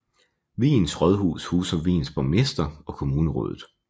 Wien Rådhus huser Wiens borgmester og kommunerådet